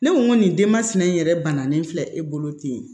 Ne ko ŋo nin denmasinɛ in yɛrɛ banna ne filɛ e bolo ten